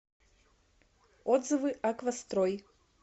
отзывы аквастрой